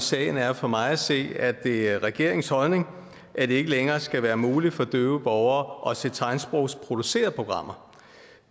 sagen er for mig at se at det er regeringens holdning at det ikke længere skal være muligt for døve borgere at se tegnsprogsproducerede programmer